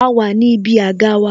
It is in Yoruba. A wà ní ibi àga wa